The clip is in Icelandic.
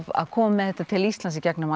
koma með þetta til Íslands í gegnum